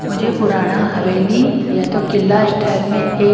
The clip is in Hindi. मुझे पुराणा हवेली या तो किल्ला स्टाइल में एक--